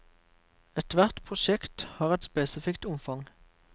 Ethvert prosjekt har et spesifikt omfang.